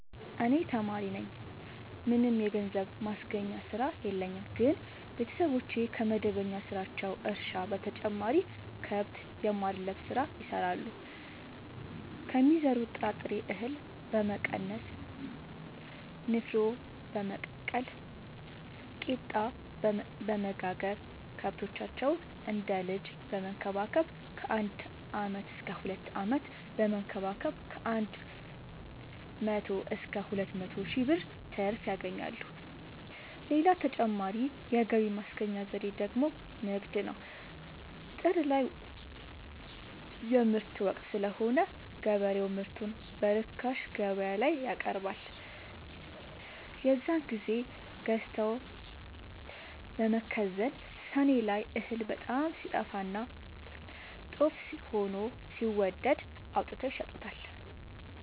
እኔ ተማሪነኝ ምንም የገንዘብ ማስገኛ ስራ የለኝም ግን ቤተሰቦቼ ከመደበኛ ስራቸው እርሻ በተጨማሪ ከብት የማድለብ ስራ ይሰራሉ ከሚዘሩት ጥራጥሬ እሀል በመቀነስ ንፋኖ በመቀቀል ቂጣበወጋገር ከብቶቻቸውን እንደ ልጅ በመከባከብ ከአንድ አመት እስከ ሁለት አመት በመንከባከብ ከአንድ መቶ እስከ ሁለት መቶ ሺ ብር ትርፍ ያገኛሉ። ሌላ ተጨማሪ የገቢ ማስገኛ ዘዴ ደግሞ ንግድ ነው። ጥር ላይ የምርት ወቅት ስለሆነ ገበሬው ምርቱን በርካሽ ገበያላይ ያቀርባል። የዛን ግዜ ገዝተው በመከዘን ሰኔ ላይ እህል በጣም ሲጠፋና ጦፍ ሆኖ ሲወደድ አውጥተው ይሸጡታል።